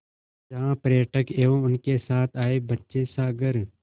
जहाँ पर्यटक एवं उनके साथ आए बच्चे सागर